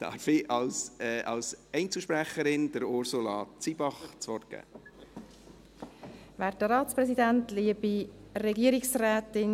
() Ich darf als Einzelsprecherin Ursula Zybach das Wort geben.